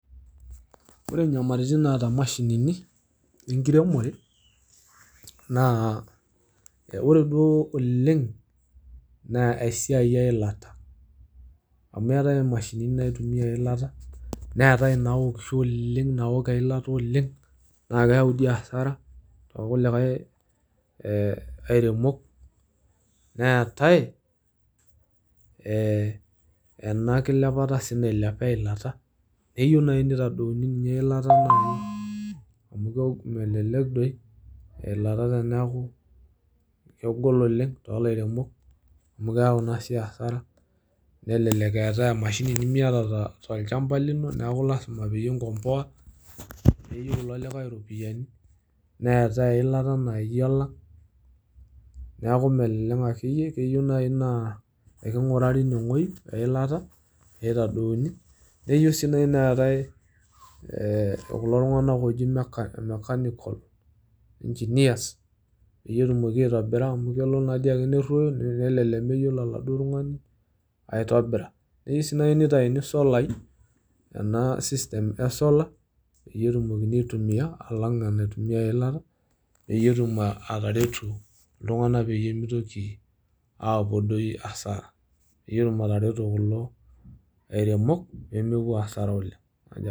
ore nyamalitin naata imashinini enkiremore naa ore duoo oleng naa esiai eilata. amu eetae imashinini naitumia eilata ,neetae inaokisho naa keokisho dii oleng naa keyau dii asara too kulikae ee airemok . neetae ee enakilepata nailepa eilata. neyieu naji nitadouni ninye eilata amu melelek doi eilata teniaku kegol oleng tolairemok amu keyau si di asara ,nelelek eetae mashinini nimiata tolchamba lino ,niaku lasima peyie inkomboa neyieu ilo likae iropiyiani . neetae eilata nainyiala niaku melelek akeyie. keyieu naji naa ekungurari ine wuei eilata peitadouni ,neyieu si neetae kulo tunganak oji e mechanic mechanical engineers peyie etumoki aitobira amu kelo naa doi ake neruoyo ,nelelek meyiolo oladuoo tungani aitobiraa. keyieu si naji neitayuni solai ena system e solar peyie etumokini aitumia alang naitumia eilata peyie etum ataretu iltunganak peyie mitoki apuo doi asara. peyie etum atareto kulo airemok pemepuo asara oleng.